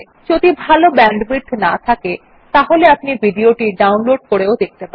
যদি ভাল ব্যান্ডউইডথ না থাকে তাহলে আপনি ভিডিও টি ডাউনলোড করে দেখতে পারেন